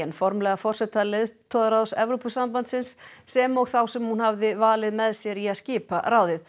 formlega forseta leiðtogaráðs Evrópusambandsins sem og þá sem hún hafði valið með sér til að skipa ráðið